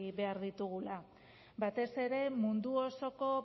behar ditugula batez ere mundu osoko